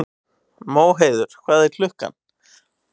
Móheiður, hvað er klukkan?